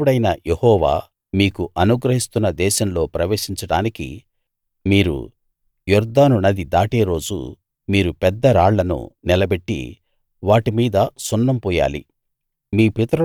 మీ దేవుడైన యెహోవా మీకు అనుగ్రహిస్తున్న దేశంలో ప్రవేశించడానికి మీరు యొర్దాను నది దాటే రోజు మీరు పెద్ద రాళ్లను నిలబెట్టి వాటి మీద సున్నం పూయాలి